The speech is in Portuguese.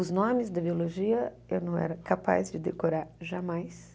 Os nomes da biologia eu não era capaz de decorar jamais.